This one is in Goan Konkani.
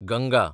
गंगा